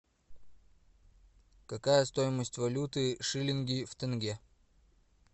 какая стоимость валюты шиллинги в тенге